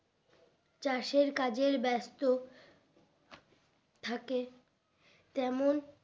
চাষের কাজের ব্যাস্ত থাকে তেমন